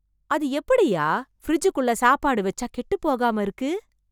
அது எப்படியா , பிரிட்ஜ் குள்ள சாப்பாடு வச்சா , கெட்டுப் போகாம இருக்கு